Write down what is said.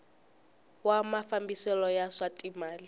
wa mafambiselo ya swa timal